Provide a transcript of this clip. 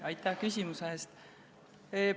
Aitäh küsimuse eest!